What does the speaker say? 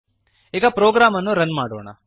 ಈಗ ಪ್ರೋಗ್ರಾಮ್ ಅನ್ನು ರನ್ ಮಾಡೋಣ